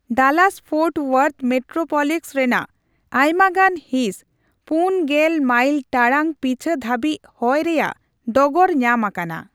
Dallas-Fort Worth metroplex ᱨᱮᱱᱟᱜ ᱟᱭᱢᱟ ᱜᱟᱱ ᱦᱤᱸᱥ ᱔᱐ ᱢᱟᱭᱞ ᱴᱟᱲᱟᱝ ᱯᱤᱪᱷᱟᱹ ᱫᱷᱟᱹᱵᱤᱡ ᱦᱚᱭ ᱨᱮᱭᱟᱜ ᱰᱚᱜᱚᱨ ᱧᱟᱢ ᱟᱠᱟᱱᱟ ᱾